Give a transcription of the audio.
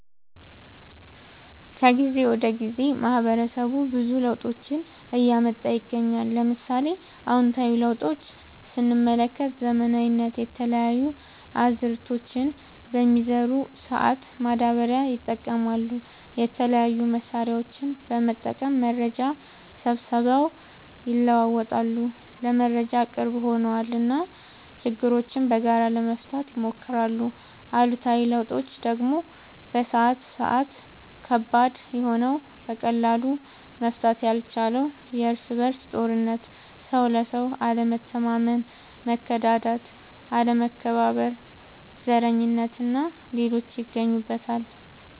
ከጊዜ ወደ ጊዜ ማህበረሰቡ ብዙ ለውጦችን እያመጣ ይገኛል። ለምሳሌ፦ አዎንታዊ ለውጦች ስንመለከት ዘመናዊነት፣ የተለያዩ አዝዕርቶችን በሚዘሩ ሰአት ማዳበሪያ ይጠቀማሉ፣ የተለያዩ መሳሪያዎችን በመጠቀም መረጃ ሰብስበው ይለዋወጣሉ (ለመረጃ ቅርብ ሆነዋል ) እና ችግሮችን በጋራ ለመፍታት ይሞክራሉ። አሉታዊ ለውጦች ደግሞ በአሁን ሰአት ከባድ የሆነው በቀላሉ መፈታት ያልቻለው የርስ በርስ ጦርነት፣ ሰው ለሰው አለመተማመን፣ መከዳዳት፣ አለመከባበር፣ ዘረኝነት እና ሌሎችም ይገኙበታል።